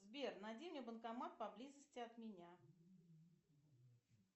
сбер найди мне банкомат поблизости от меня